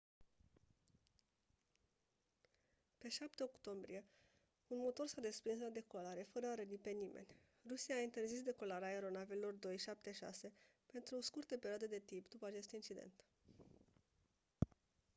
pe 7 octombrie un motor s-a desprins la decolare fără a răni pe nimeni rusia a interzis decolarea aeronavelor il-76 pentru o scurtă perioadă de timp după acest accident